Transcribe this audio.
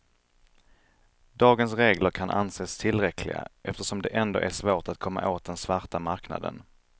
Dagens regler kan anses tillräckliga eftersom det ändå är svårt att komma åt den svarta marknaden.